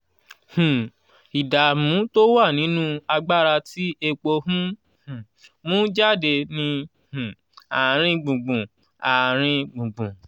um ìdààmú tó wà nínú agbára tí epo ń um mú jáde ní um àárín gbùngbùn. àárín gbùngbùn.